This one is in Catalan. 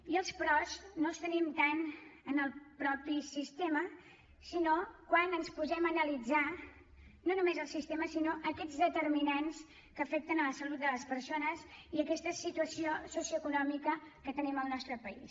i els peròs no els tenim tant en el mateix sistema sinó quan ens posem a analitzar no només el sistema sinó aquests determinants que afecten la salut de les persones i aquesta situació socioeconòmica que tenim al nostre país